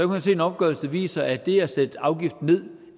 hun se en opgørelse der viser at det at sætte afgiften ned